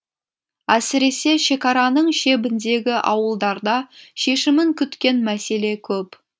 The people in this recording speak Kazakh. әсіресе шекараның шебіндегі ауылдарда шешімін күткен мәселе көп